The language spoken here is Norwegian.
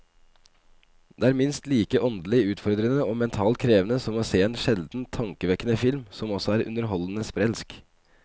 Det er minst like åndelig utfordrende og mentalt krevende som å se en sjeldent tankevekkende film som også er underholdende sprelsk.